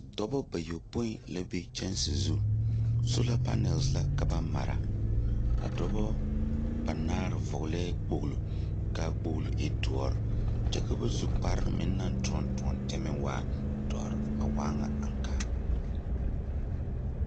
Dɔbɔ bayɔpoi la be kyɛnse zu. Soola la ka ba mara. A dɔbɔ banaare vɔɔlɛɛ kpoglo, kaa kpoglo e doɔre. Kyɛ ka ba su kpare meŋ naŋ toɔne toɔne, a waa ŋa aŋkaa.